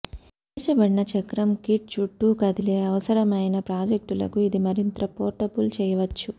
చేర్చబడిన చక్రం కిట్ చుట్టూ కదిలే అవసరమైన ప్రాజెక్టులకు ఇది మరింత పోర్టబుల్ చేయవచ్చు